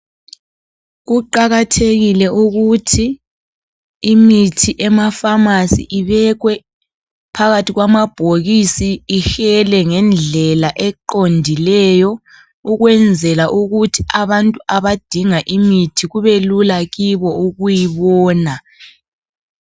Kuqakathekile ukuthi imithi emafamasi ibekwe phakathi kwamabhokisi Ihele ngendlela eqondileyo ukwenzela ukuthi abantu abadinga imithi kubelula kibo ukuyibona.